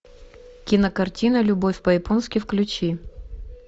кинокартина любовь по японски включи